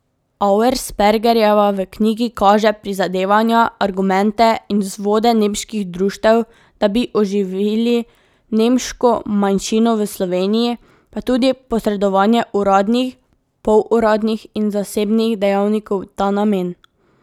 Auerspergerjeva v knjigi kaže prizadevanja, argumente in vzvode nemških društev, da bi oživili nemško manjšino v Sloveniji, pa tudi posredovanje uradnih, poluradnih in zasebnih dejavnikov v ta namen.